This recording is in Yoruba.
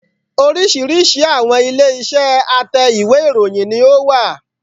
Oríṣìíríṣìí àwọn ilé iṣẹ́ a tẹ́ ìwé ìròyìn ni ó wà